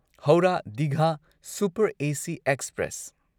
Howrah Digha super AC express